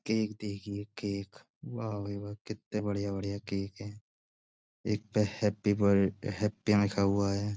Cake देखिये cake. वाह भाई वाह कित्ते बढ़िया बढ़िया केक हैं। एक पे हैप्पी बर हैप्पी लिखा हुआ है।